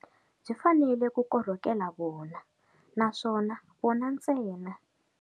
Byi fanele ku korhokela vona naswona vona ntsena.